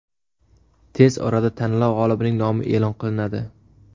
Tez orada tanlov g‘olibining nomi e’lon qilinadi.